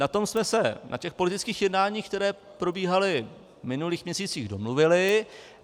Na tom jsme se na těch politických jednáních, která probíhala v minulých měsících, domluvili.